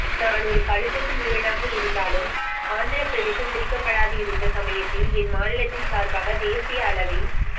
நான் ஓர் பளுதூக்கும் வீரனாக இருந்தாலும் ஆந்திரபிரதேசம் பிரிக்கப்படாதிருந்த சமயத்தில் என் மாநிலத்தின் சார்பாக தேசிய அளவில்